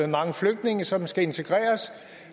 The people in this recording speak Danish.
mange flygtninge som skal integreres